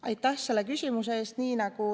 Aitäh selle küsimuse eest!